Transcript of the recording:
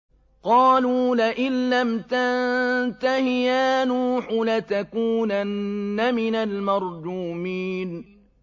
قَالُوا لَئِن لَّمْ تَنتَهِ يَا نُوحُ لَتَكُونَنَّ مِنَ الْمَرْجُومِينَ